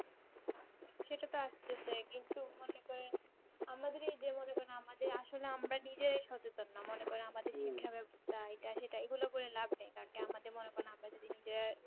সেটা তো আসতেচাই কিন্তু মনে করেন আমাদের এই যে মনে করেন আমাদের আসলে আমরা নিজেরাই সচেতন না মনে করেন আমাদে শিক্ষা ব্যবস্থা এটি সেটা এইগুলো করে ল্যাব নেই কারণ কি আমাদের মনে করেন আমরা যদি নিজেরাই